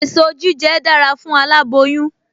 Èso jíjẹ dára fún aláboyún